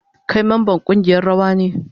Kai memban kungiyar rawa ne?